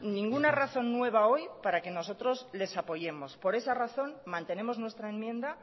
ninguna razón nueva hoy para que nosotros les apoyemos por esa razón mantenemos nuestra enmienda